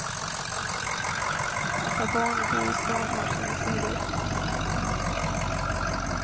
Att ha barn och bo i stan har sina sidor.